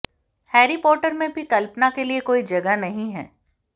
Harry Potter में भी कल्पना के लिए कोई जगह नहीं है